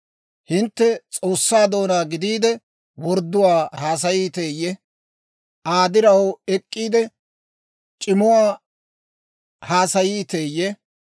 Hintte S'oossaa doonaa gidiide, wordduwaa haasayiiteeyye? Aa diraw ek'k'iide, c'imuwaa haasayiiteeyye?